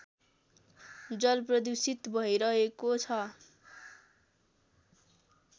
जलप्रदूषित भैरहेको छ